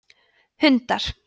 hundar